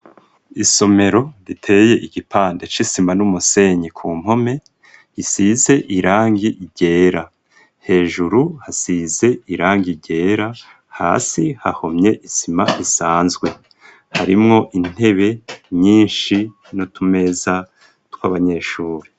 Isomero riteye igipande c'isima n'umusenyi, ku mpome isize irangi ryera, hejuru hasize irangi ryera, hasi hahomye isima isanzwe, harimwo intebe nyinshi n'utumeza tw'abanyeshuri.